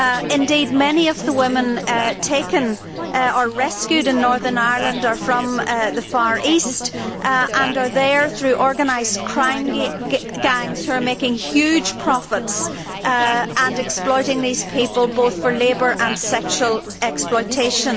Indeed, many of the women taken or rescued in Northern Ireland are from the Far East and are there through organised crime gangs who are making huge profits and exploiting these people both for labour and sexual exploitation.